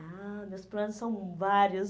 Ah, meus planos são vários.